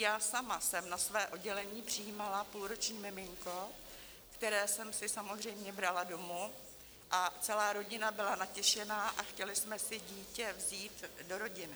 Já sama jsem na své oddělení přijímala půlroční miminko, které jsem si samozřejmě brala domů, a celá rodina byla natěšená a chtěli jsme si dítě vzít do rodiny.